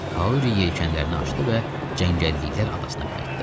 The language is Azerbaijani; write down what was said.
Kauri yelkənlərini açdı və cəngəlliklər adasına qayıtdı.